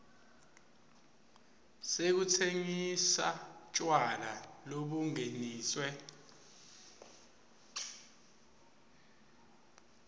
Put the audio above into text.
sekutsengisa tjwala lobungeniswe